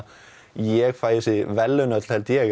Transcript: ég fæ þessi verðlaun öll held ég